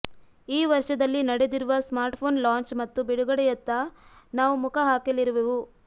ಈ ವರ್ಷದಲ್ಲಿ ನಡೆದಿರುವ ಸ್ಮಾರ್ಟ್ಫೋನ್ ಲಾಂಚ್ ಮತ್ತು ಬಿಡುಗಡೆಯತ್ತ ನಾವು ಮುಖ ಹಾಕಲಿರುವೆವು